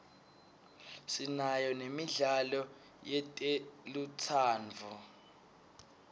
sinayo nemidlalo yetelutsandvo